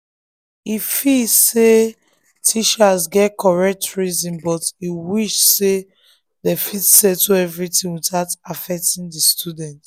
e feel say teachers get correct reasons but e wish say dem fit settle everything without affecting the students.